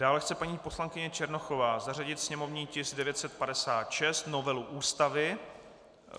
Dále chce paní poslankyně Černochová zařadit sněmovní tisk 965 - novelu Ústavy.